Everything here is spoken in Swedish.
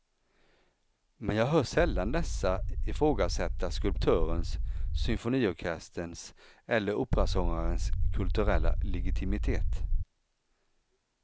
Men jag hör sällan dessa ifrågasätta skulptörens, symfoniorkesterns eller operasångarens kulturella legitimitet.